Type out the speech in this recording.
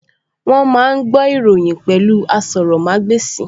Wọ́n máa ń gbọ́ ìròyìn pẹ̀lú asọrọ̀mágbèsì